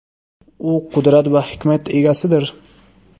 U qudrat va hikmat egasidir.